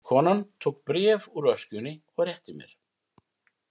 Konan tók bréf úr öskjunni og rétti mér.